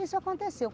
Isso aconteceu.